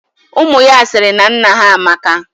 Umu ya siri na nna ha amaka.